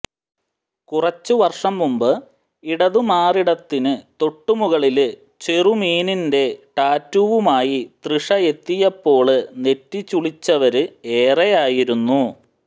കുറച്ച് വര്ഷം മുമ്പ് ഇടതു മാറിടത്തിന് തൊട്ട് മുകളില് ചെറുമീനിന്റെ ടാറ്റൂവുമായി തൃഷയെത്തിയപ്പോള് നെറ്റി ചുളിച്ചവര് ഏറെയായിരുന്നു